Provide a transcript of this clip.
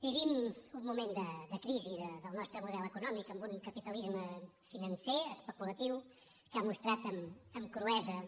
vivim un moment de crisi del nostre model econòmic amb un capitalisme financer especulatiu que ha mostrat amb cruesa